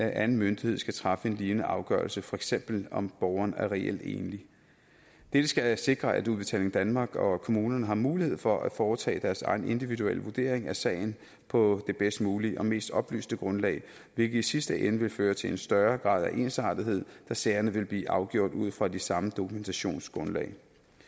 anden myndighed skal træffe en lignende afgørelse for eksempel om borgeren er reelt enlig dette skal sikre at udbetaling danmark og kommunerne har mulighed for at foretage deres egen individuelle vurdering af sagen på det bedst mulige og mest oplyste grundlag hvilket i sidste ende vil føre til en større grad af ensartethed da sagerne vil blive afgjort ud fra de samme dokumentationsgrundlag